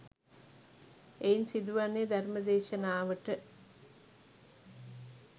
එයින් සිදුවන්නේ ධර්මදේශනාවට